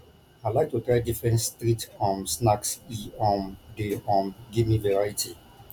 i like to try different street um snacks e um dey um give me variety